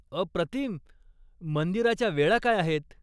अप्रतिम, मंदिराच्या वेळा काय आहेत?